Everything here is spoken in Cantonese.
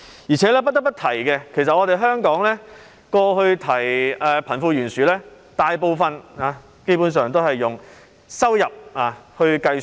而且，不得不提的是，香港過去談及貧富懸殊時，大部分情況或基本上是以收入來計算。